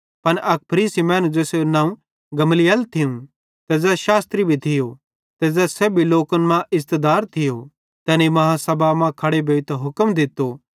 पन अक फरीसी मैनू ज़ेसेरू नवं गमलीएल थियूं ते ज़ै शास्त्री भी थियो ते ज़ै सेब्भी लोकन मां इज़्ज़तदार थियो तैनी आदालती मां खड़े भोइतां हुक्म दित्तो कि एना मैनू थोड़े च़िरे बेइर भेज़ा